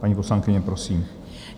Paní poslankyně, prosím.